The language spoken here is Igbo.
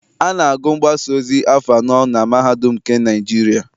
A na-agụ mgbasaozi afọ anọ na mahadum nke Naịjirịa.